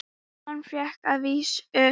Hann fékk að vísu